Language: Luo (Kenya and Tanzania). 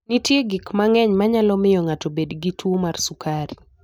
Nitie gik mang'eny manyalo miyo ng'ato obed gi tuwo mar sukari.